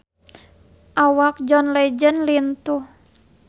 Awak John Legend lintuh